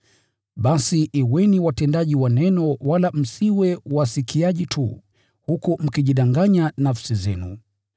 Basi kuweni watendaji wa Neno wala msiwe wasikiaji tu, huku mkijidanganya nafsi zenu.